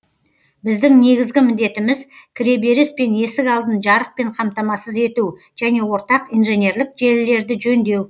біздің негізгі міндетіміз кіреберіс пен есік алдын жарықпен қамтамасыз ету және ортақ инженерлік желілерді жөндеу